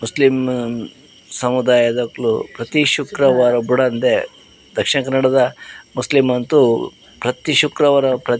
Muslim ಸಮುದಾಯದಕುಲು ಪ್ರತಿ ಶುಕ್ರವಾರ ಬುಡಂದೆ ದಕ್ಷಿಣ ಕನ್ನಡದ ಮುಸ್ಲಿಂ ಅಂತು ಪ್ರತೀ ಶುಕ್ರವಾರ ಪ್ರ--